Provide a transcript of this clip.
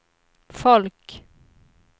folk